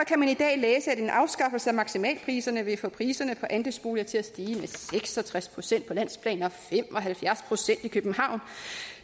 kan man i dag læse at en afskaffelse af maksimalpriserne vil få priserne på andelsboliger til at stige med seks og tres procent på landsplan og fem og halvfjerds procent i københavn